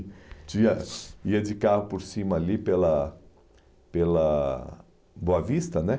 tinha, ia de carro por cima ali pela pela Boa Vista, né?